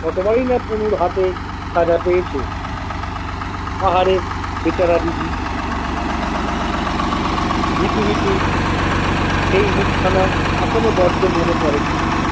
কতবারই না পুলুর হাতে সাজা পেয়েছে আহারে বেচারা দিদি ভীতু ভীতু সেই মুখখানা এখনো বড্ড মনে পড়ে পুলুর।